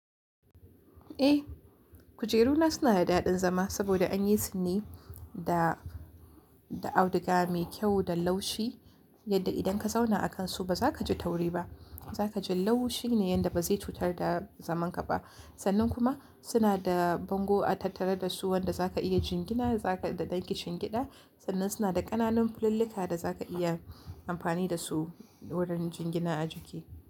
Eh, kujeru na suna da daɗin zama saboda an yi su ne da, da auduga mai kyau da laushi yadda idan ka zauna a kan su ba za ka ji tauri ba. Za ka ji laushi ne yanda ba zai cutar da zaman ka ba. Sannan kuma suna da bango a tattare da su wanda za ka iya jingina zaka, da ɗan kishingida. Sannan suna da ƙananun fulillika da za ka iya amfani da su wurin jingina ajiki.